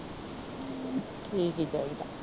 ਠੀਕ ਈ ਚਾਹੀਦਾ।